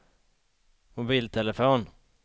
mobiltelefon